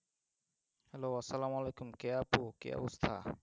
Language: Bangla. hello আসসালাম ওয়ালাইকুম কে আছো কি অবস্থা?